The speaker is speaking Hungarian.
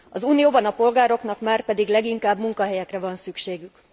Az Unióban a polgároknak márpedig leginkább munkahelyekre van szükségük.